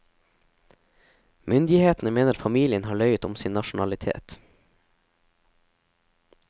Myndighetene mener familien har løyet om sin nasjonalitet.